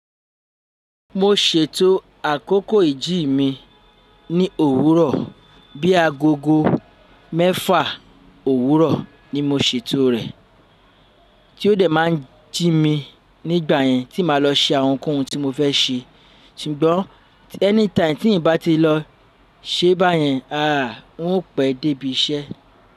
Mo ṣètò àkókò ìjí mi ní òwúrọ̀, bí i agogo mẹ́fà òwúrọ̀ ni mo ṣètò rẹ̀, tí ó dẹ̀ máa ń jí mi nígbà yẹn tí màá lọ ṣe àwọn ohunkóhun tí mo fẹ́ ṣe. Ṣùgbọ́n anytime tí n ò bá ti lọ ṣe báyẹn, àá, n ó pẹ́ dé ibi iṣẹ́.